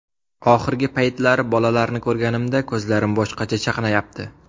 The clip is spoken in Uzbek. Oxirgi paytlari bolalarni ko‘rganimda, ko‘zlarim boshqacha chaqnayapti.